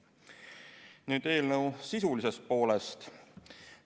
Nüüd eelnõu sisulisest poolest.